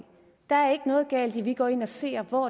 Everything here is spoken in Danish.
der er ikke noget galt i at vi går ind og ser på